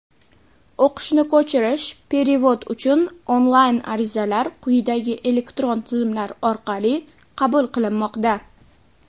O‘qishni ko‘chirish (perevod) uchun onlayn arizalar quyidagi elektron tizimlar orqali qabul qilinmoqda:.